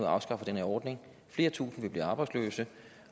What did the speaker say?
afskaffer den her ordning flere tusinde vil blive arbejdsløse